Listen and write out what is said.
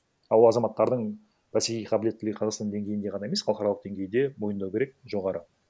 ал ол азаматтардың бәсекеге қабілеттілігі тек қазақстан деңгейінде ғана емес халықаралық деңгейде мойындау керек жоғары